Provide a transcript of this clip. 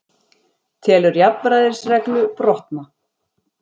Telur jafnræðisreglu brotna